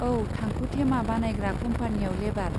औ, थांखु थेमा बानायग्रा कम्पानीयाव लेबार।